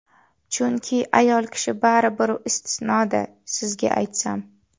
Chunki ayol kishi baribir istisno-da, sizga aytsam.